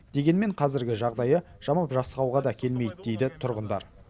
дегенмен қазіргі жағдайы жамап жасқауға да келмейді дейді тұрғындар